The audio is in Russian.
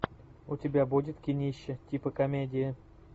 у тебя будет кинище типа комедии